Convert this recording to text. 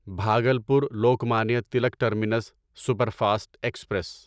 Bhagalpur Lokmanya Tilak terminus superfast express